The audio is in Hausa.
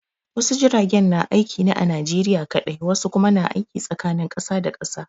Wasu jiragen na aiki ne a Najeriya kaɗai, wasu kuma na aiki tsakanin kasa da kasa.